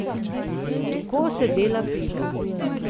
Tako se dela pivo.